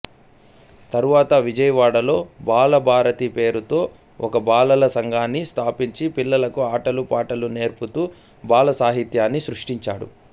తరువాత విజయవాడలో బాలభారతి పేరుతో ఒక బాలల సంఘాన్ని స్థాపించి పిల్లలకు ఆటలు పాటలు నేర్పుతూ బాలసాహిత్యాన్ని సృష్టించాడు